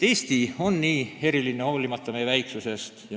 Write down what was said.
Eesti on hoolimata oma väiksusest kogu oma ulatuses väga erinev.